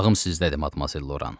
Qulağım sizdədir, Madmazel Loran.